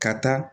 Ka taa